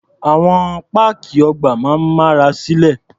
Àwọn páàkì ọgbà máa ń mára silé.